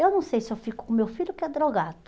Eu não sei se eu fico com meu filho que é drogado.